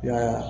Yaa